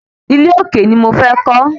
Ilé òkè ni mo fẹ́ kọ́